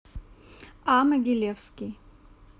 а могилевский